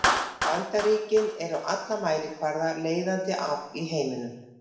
Bandaríkin eru á alla mælikvarða leiðandi afl í heiminum.